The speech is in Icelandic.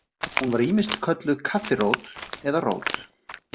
Hún var ýmist kölluð kaffirót eða rót.